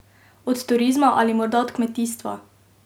Od turizma ali morda od kmetijstva?